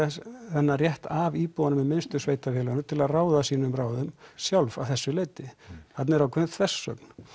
þennan rétt af íbúunum við minnstu sveitarfélögunum til að ráða sínum ráðum sjálf að þessu leyti þarna er ákveðin þversögn